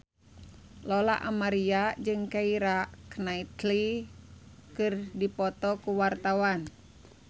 Lola Amaria jeung Keira Knightley keur dipoto ku wartawan